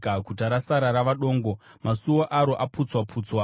Guta rasara rava dongo, masuo aro aputswa-putswa.